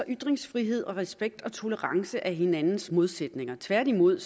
ytringsfrihed og respekt og tolerance er hinandens modsætninger tværtimod